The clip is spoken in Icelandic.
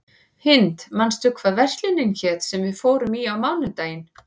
Hind, manstu hvað verslunin hét sem við fórum í á mánudaginn?